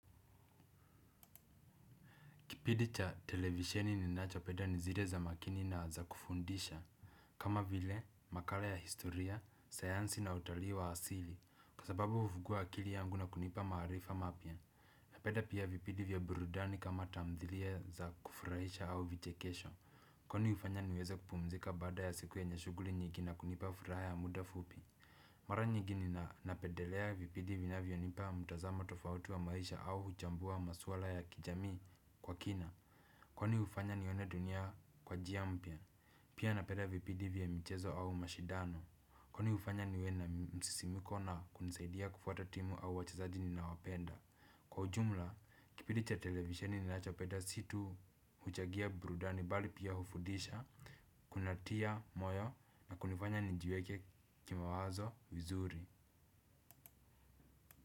Kipindi cha televisheni ninacho peda ni zile za makini na za kufundisha. Kama vile makala ya historia, sayansi na utalii wa asili kwa sababu ufugua akili yangu na kunipa maarifa mapya. Napeda pia vipidi vya burudani kama tamthilia za kufurahisha au vichekesho. Kwani ufanya niweza kupumzika baada ya siku yenye shuguli nyigi na kunipa furaha ya muda fupi. Mara nyigi ninapedelea vipidi vinavyonipa mutazamo tofauti wa maisha au huchambua maswala ya kijami kwa kina. Kwani ufanya nione dunia kwa jia mpya, pia napeda vipidi vya michezo au mashidano. Kwani ufanya niwe na msisimko na kunisaidia kufuata timu au wachazaji ninaowapenda. Kwa ujumla, kipidi cha televisheni ninachopeda si tu huchagia burudani bali pia ufudisha. Kunatia moyo na kunifanya nijiweke kimawazo vizuri.